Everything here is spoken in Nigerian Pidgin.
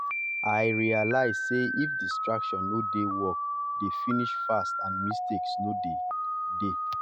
i realize sey if distraction no dey work dey finish fast and mistakes no go dey.